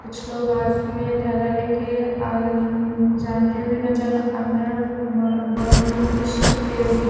कुछ लोग हाथ में थैला लेके अ जाते हुए नजर आ रहे है और बा बगल में कुछ पेड़ दिख --